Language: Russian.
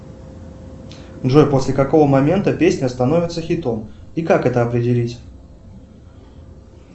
джой после какого момента песня становится хитом и как это определить